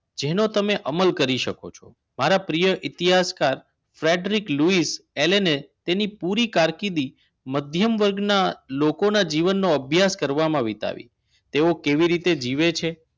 જેના તમે અમલ કરી શકો છો મારા પ્રિય ઇતિહાસકાર ફેડરિક લુઇસ એને તેની પૂરી કારકિર્દી મધ્યમ વર્ગના લોકોના જીવનનો અભ્યાસ કરવામાં વિતાવી તેઓ કેવી રીતે જીવે છે